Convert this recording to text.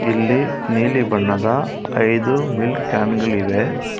ಇಲ್ಲಿ ನೀಲಿ ಬಣ್ಣದ ಐದು ಮಿಲ್ಕ್ ಕ್ಯಾನ್ ಗಳಿವೆ.